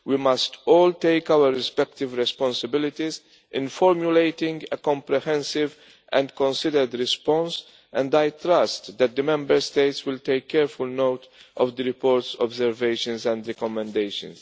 We must all take our respective responsibilities in formulating a comprehensive and considered response, and I trust that the Member States will take careful note of the report's observations and recommendations.